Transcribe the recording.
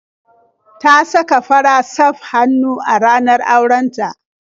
Ta saka fara safr hannu a ranar auren ta.